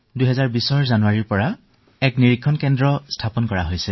তাত জানুৱাৰী ২০২০ৰ পৰা পৰীক্ষণ কেন্দ্ৰ আৰম্ভ কৰা হৈছে